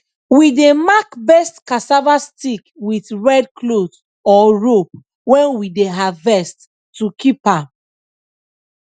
we dey mark best cassava stick with red cloth or rope when we dey harvest to keep am